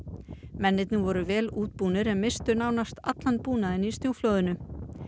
mennirnir voru vel útbúnir en misstu nánast allan búnaðinn í snjóflóðinu